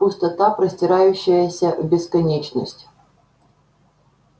пустота простирающаяся в бесконечность